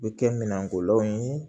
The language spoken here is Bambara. U bɛ kɛ minɛnko law ye